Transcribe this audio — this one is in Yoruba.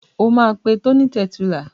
O máa pe Tony Tẹ̀túílà.